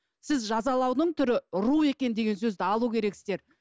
сіз жазалаудың түрі ұру екен деген сөзді алу керексіздер